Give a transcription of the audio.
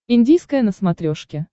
индийское на смотрешке